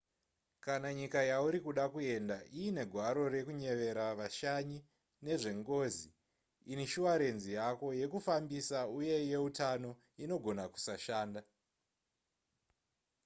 kana nyika yauri kuda kuenda iine gwaro rekunyevera vashanyi nezvengozi inishuwarenzi yako yekufambisa uye yeutano inogona kusashanda